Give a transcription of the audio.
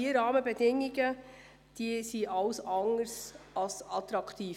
Die Rahmenbedingungen für den Kanton Bern sind nämlich alles andere als attraktiv.